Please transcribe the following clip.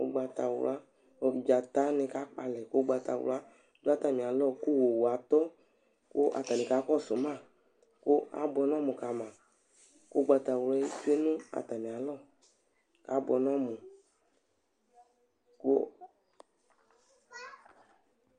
Ugbatawla dzatani Kakpɔ alɛ ku ugbatawla du atami alɔ ku owu atɔ ku atani kakɔsu ma ku abuɛ nu ɔmu kama ugbatawla eze nu atami alɔ abuɛ nu ɔmu ku